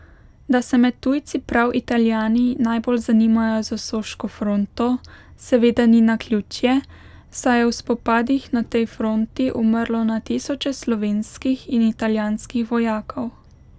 Da se med tujci prav Italijani najbolj zanimajo za Soško fronto, seveda ni naključje, saj je v spopadih na tej fronti umrlo na tisoče slovenskih in italijanskih vojakov.